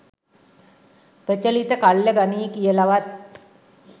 ප්‍රචලිත කල්ල ගනියි කියලවත්